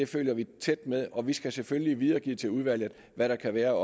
følger vi tæt med i og vi skal selvfølgelig videregive til udvalget hvad der kan være